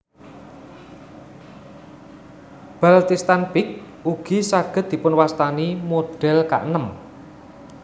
Baltistan Peak ugi saged dipun wastani model kaenem